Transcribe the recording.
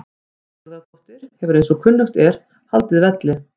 Sigurðardóttir hefur eins og kunnugt er haldið velli.